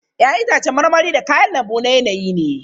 Ya'yan itacen marmari da kayan lambu na yanayi ne.